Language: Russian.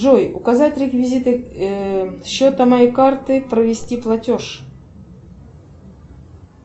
джой указать реквизиты счета моей карты провести платеж